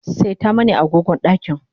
seta mani agogon ɗakin